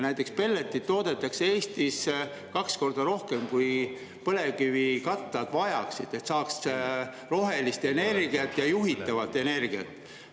Näiteks pelletit toodetakse Eestis kaks korda rohkem, kui põlevkivikatlad vajaksid, et saaks rohelist energiat ja juhitavat energiat.